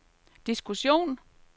diskussion